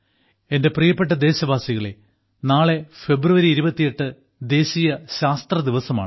എന്റെ പ്രിയപ്പെട്ട ദേശവാസികളെ നാളെ ഫെബ്രുവരി 28 ദേശീയ ശാസ്ത്ര ദിവസമാണ്